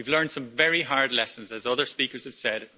We've learned some very hard lessons, as other speakers have said.